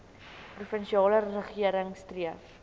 provinsiale regering streef